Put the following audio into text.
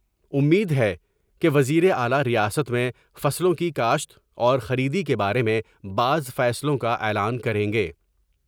امید ہے کہ وزیراعلی ریاست میں فاصلوں کی کاشت اورخریدی کے بارے میں بعض فیصلوں کا اعلان کریں گے ۔